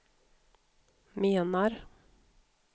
menar